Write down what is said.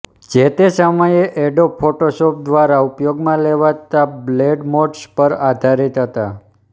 જે તે સમયે એડોબ ફોટોશોપ દ્વારા ઉપયોગમાં લેવાતા બ્લેન્ડ મોડ્સ પર આધારીત હતા